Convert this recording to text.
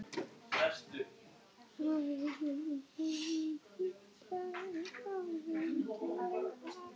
Í ljósi ýmissa nýrra og gamalla upplýsinga setti